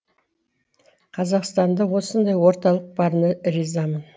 қазақстанда осындай орталық барына ризамын